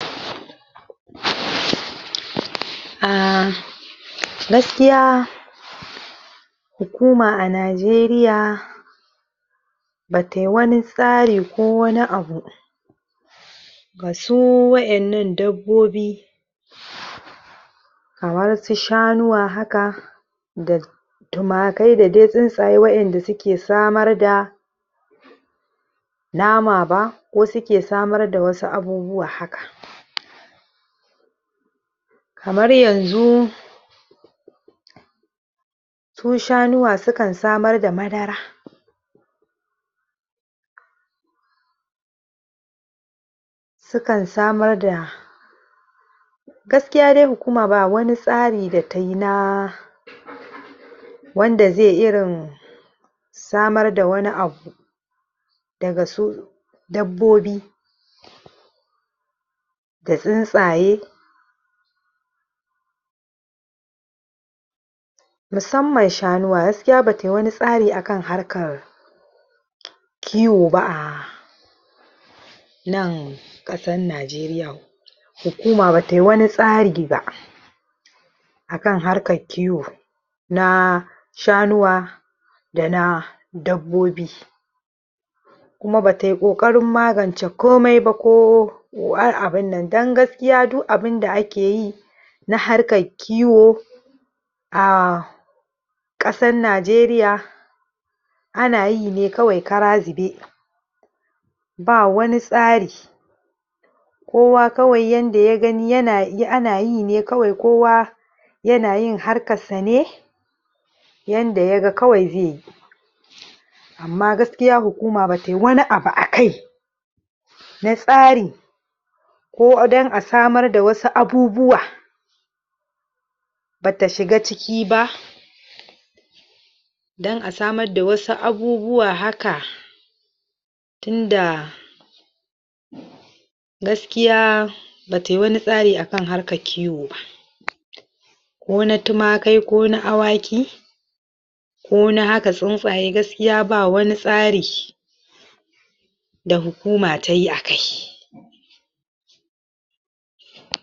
??? um gaskiya? hukuma a Najeriya batai wani tsari ko wani abu ga su wa'ennan dabbobi? kamar su shanuwa haka da tumakai da dai tsuntsaye wa'inda suke samar da nama ba wasu ke samar da wasu abubuwa haka? kamar yanzu su shanuwa su kan samar da madara su kan samar da gaskiya dai hukuma ba wani tsari da tayi na? wanda zai irin samar da wani abu da su u dabbobi da tsintsaye musamman shanuwa gaskia batayi wani tsari akan harkar? kowo ba um nan ƙasan Najeriyan hukuma batai wani tsari ba akan harkar kiwo na shanuwa da na dabbobi kuma batai ƙoƙarin magance komai ba ko um abin nan don gaskiya du abinda ake yi na harkar kiwo um ƙasan Najeriya ana yi ne kawai kara zube ba wani tsari kowa kawai yanda ya gani yana ana yi ne kawai kowa yana yin harkassa ne yanda ya ga kawai zai yi? amma gaskiya hukuma batai wani abu akai na tsari ko don a samar da wasu abubuwa bata shiga ciki ba don a samar da wasu abubuwa haka tinda gaskiya batai wani tsari akan harkar kiwo ba? ko na tumakai ko na awaki ko na haka tsuntsaye gaskiya ba wani tsari da hukuma tayi a kai?